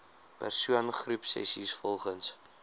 persoon groepsessies volgens